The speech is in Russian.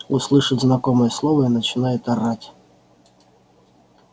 услышит знакомое слово и начинает орать